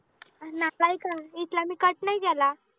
आन ना काही काळ, इथला मी cut नाही केला